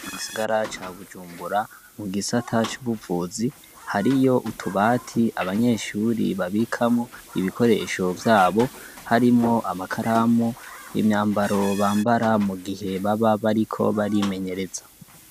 Mu gisagara ca Bujumbura, mu gisata c'ubuvuzi, hariyo utubati abanyeshure babikamwo ibikoresho vyabo. Harimwo amakaramu, imyambaro bambara mu gihe baba bariko barimenyereza.